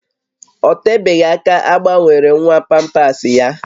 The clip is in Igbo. Ọ tebeghị aka a gbanwere nwa pampasị ya